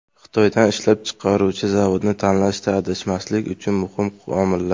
Xitoydan ishlab chiqaruvchi zavodni tanlashda adashmaslik uchun muhim omillar.